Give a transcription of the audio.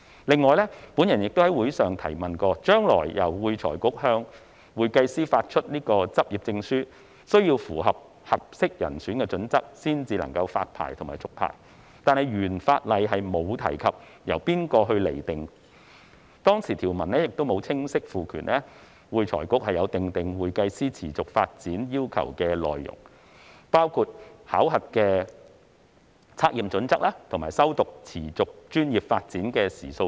此外，我亦曾在會議上提問，將來由會財局向會計師發出執業證書，須符合"適當人選"的準則才能發牌和續牌，但原法例並無提及由何方釐定準則，當時條文亦沒有清晰賦權會財局訂定會計師持續發展要求的內容，包括考核測驗標準及持續專業進修的時數等。